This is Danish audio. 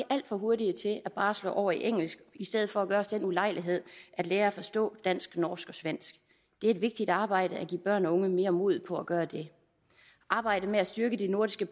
alt for hurtige til bare at slå over i engelsk i stedet for at gøre os den ulejlighed at lære og forstå dansk norsk og svensk det er et vigtigt arbejde at give børn og unge mere mod på at gøre det arbejdet med at styrke det nordiske